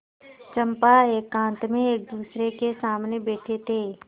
चंपा एकांत में एकदूसरे के सामने बैठे थे